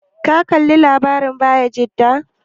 Ka kalla labarin Bayajida?